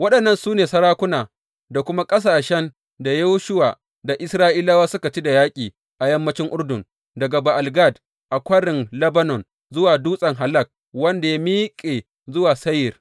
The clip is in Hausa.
Waɗannan su ne sarakuna da kuma ƙasashen da Yoshuwa da Isra’ilawa suka ci da yaƙi a yammancin Urdun, daga Ba’al Gad a Kwarin Lebanon zuwa Dutsen Halak wanda ya miƙe zuwa Seyir.